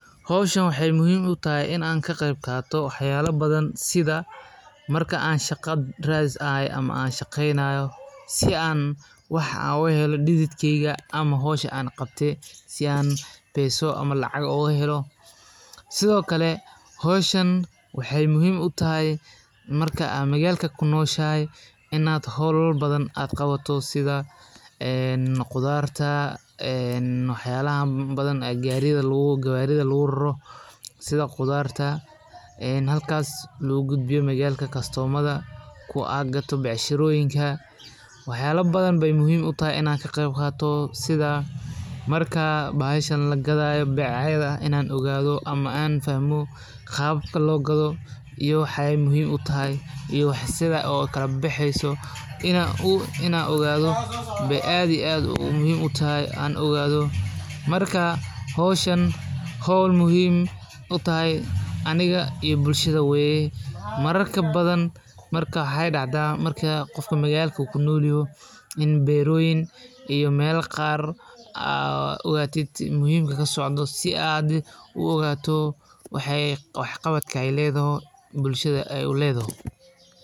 Howshan waxey muhim i tahay marka shaqo radis tahay waa marxalad muhiim ah oo qofku ku jiro dadaal uu ku doonayo inuu helo nolol dhaqaale oo deggan. Shaqo raadintu waxay u baahan tahay qorshe, dulqaad, iyo isku day joogto ah. Inta lagu jiro raadinta shaqada, qofku wuxuu baranayaa xirfado cusub sida sida